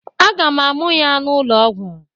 Aga m a mụa ya n'ụlọ ọgwọ.